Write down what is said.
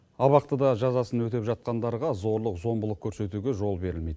абақтыда жазасын өтеп жатқандарға зорлық зомбылық көрсетуге жол берілмейді